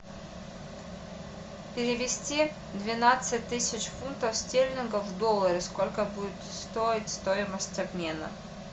перевести двенадцать тысяч фунтов стерлингов в доллары сколько будет стоить стоимость обмена